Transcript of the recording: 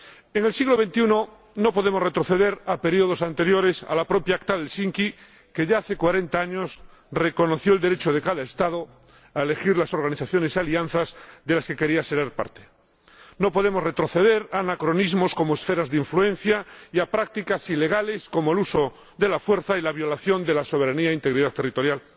En el siglo XXI no podemos retroceder a períodos anteriores a la propia Acta de Helsinki, que, ya hace cuarenta años, reconoció el derecho de cada Estado a elegir las organizaciones y alianzas de las que quería ser parte. No podemos retroceder a anacronismos, como las esferas de influencia, ni a prácticas ilegales, como el uso de la fuerza y la violación de la soberanía e integridad territorial.